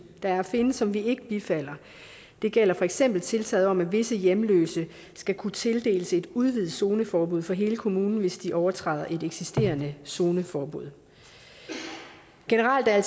der findes og som vi ikke bifalder det gælder for eksempel tiltaget om at visse hjemløse skal kunne tildeles et udvidet zoneforbud for hele kommunen hvis de overtræder et eksisterende zoneforbud generelt er